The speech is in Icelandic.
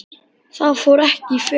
Það fór ekki í felur.